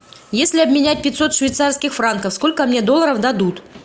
если обменять пятьсот швейцарских франков сколько мне долларов дадут